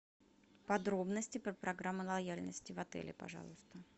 подробности про программу лояльности в отеле пожалуйста